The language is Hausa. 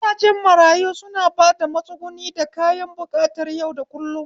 Gidajen marayu suna ba da matsuguni da kayan buƙatar yau da kullum